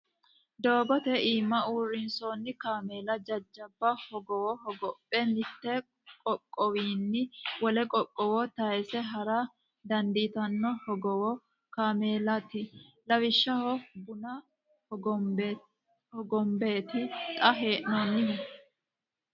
Dogote iima uurrinsonni kaameella jajjabba hogowo hogobbe mitu qoqqowinni wole qoqqowo tayse hara dandiittano hogowu kaameellati lawishshaho buna hogombeti xa hee'nonihu.